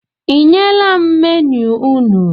I nyela m menu unu?